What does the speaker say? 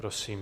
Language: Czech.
Prosím.